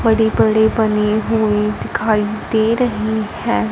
बड़ी-बड़ी बनी हुई दिखाई दे रही हैं।